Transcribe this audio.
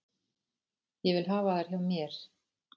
Ég vil hafa þær hjá mér.